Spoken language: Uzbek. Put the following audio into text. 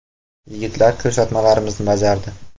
Yigitlar ko‘rsatmalarimizni bajardi.